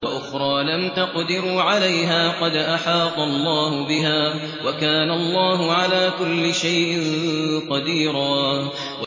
وَأُخْرَىٰ لَمْ تَقْدِرُوا عَلَيْهَا قَدْ أَحَاطَ اللَّهُ بِهَا ۚ وَكَانَ اللَّهُ عَلَىٰ كُلِّ شَيْءٍ قَدِيرًا